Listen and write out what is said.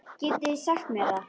Getið þið sagt mér það?